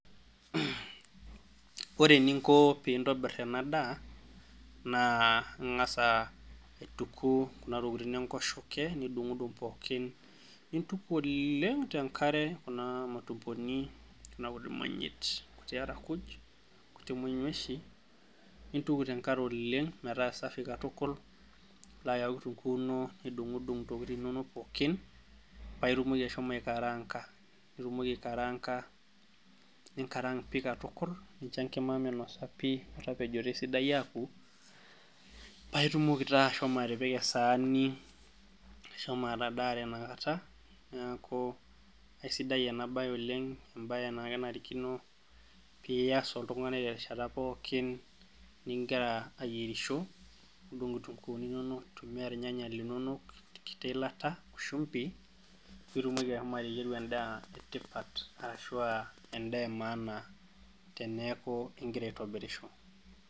Ore eninko pintobir enadaa naa ingas aituku kuna tokitin enkoshoke , nidungdung pookin , nintuku oleng tenkare kuna matumboni kuna kutiti manyit , nkuti arakuj , nkuti monyuashi ,nintuku tenkare oleng metaa safi katukul , nilo ayau kitunguu ino nidungdung ntokitin inonok pookin paa itumoki ashomo aikaranka , nitumoki aikaranka, ninkarank pi katukul , nincho enkima minosa pi , metapejoto esidai aku paa itumoki taa ashomo atipika esaani , ashomo atadaare ina kata , niaku aisidai ena bae oleng , embae naa kenarikino pias oltungani terishata pookin , ningira ayierisho , nidung nkituunguni inonok , nintumia irnyanya linonok wenkiti ilata oshumbi pitumoki ashomo ateyieru endaa etipat arashua aa endaa emaana teniaku ingira aitobirisho .